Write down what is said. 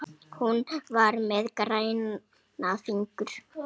Hún var með græna fingur.